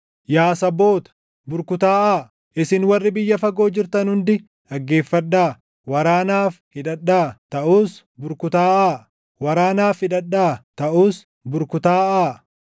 Yaa saboota, burkutaaʼaa! Isin warri biyya fagoo jirtan hundi dhaggeeffadhaa. Waraanaaf hidhadhaa; taʼus burkutaaʼaa! Waraanaaf hidhadhaa; taʼus burkutaaʼaa!